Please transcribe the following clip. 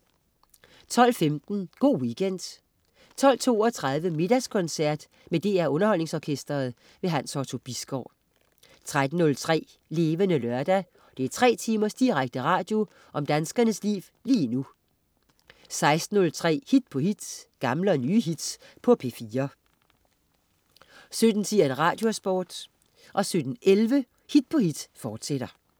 12.15 Go' Weekend 12.32 Middagskoncert. Med DR Underholdningsorkestret. Hans Otto Bisgaard 13.03 Levende Lørdag. 3 timers direkte radio om danskernes liv lige nu 16.03 Hit på hit. Gamle og nye hits på P4 17.10 Radiosporten 17.11 Hit på hit, fortsat